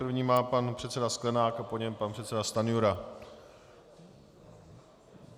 První má pan předseda Sklenák a po něm pan předseda Stanjura.